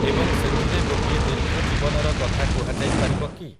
ଏବଂ ସେଥିରେ ଗୋଟିଏ ଦୀର୍ଘଜୀବନର କଥା କୁହାଯାଇପାରିବ କି?